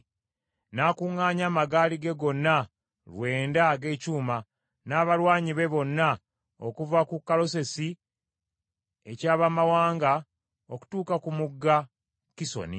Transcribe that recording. n’akuŋŋaanya amagaali ge gonna lwenda ag’ekyuma, n’abalwanyi be bonna okuva ku Kalosesi eky’abamawanga okutuuka ku mugga Kisoni.